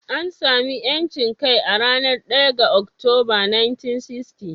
An sami 'yancin kai a ranar 1 ga Oktoba, 1960.